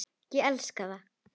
Ég elska það.